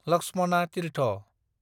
Lakshmana Tirtha